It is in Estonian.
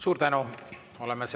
Suur tänu!